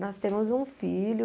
Nós temos um filho.